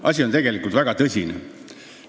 Asi on tegelikult väga tõsine.